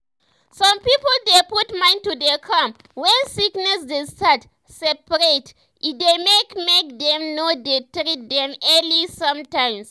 some people dey put mind to dey calm when sickness de start spread e dey make make dem no dey treat them early sometimes